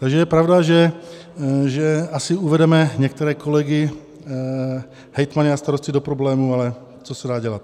Takže je pravda, že asi uvedeme některé kolegy hejtmany a starosty do problémů, ale co se dá dělat.